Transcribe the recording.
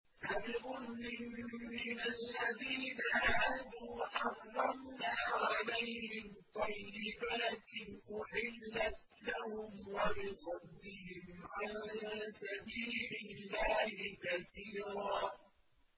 فَبِظُلْمٍ مِّنَ الَّذِينَ هَادُوا حَرَّمْنَا عَلَيْهِمْ طَيِّبَاتٍ أُحِلَّتْ لَهُمْ وَبِصَدِّهِمْ عَن سَبِيلِ اللَّهِ كَثِيرًا